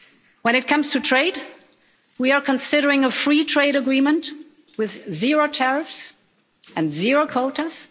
When it comes to trade, we are considering a free trade agreement with zero tariffs and zero quotas.